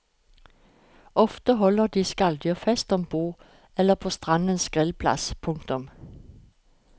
Ofte holder de skalldyrfest ombord eller på strandens grillplass. punktum